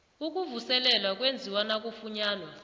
ukuvuselelwa kwenziwa nakufunyanwa